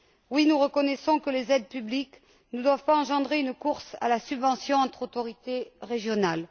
Oui, nous reconnaissons que les aides publiques ne doivent pas engendrer une course à la subvention entre autorités régionales.